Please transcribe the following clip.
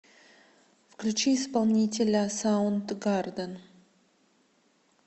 включи исполнителя саундгарден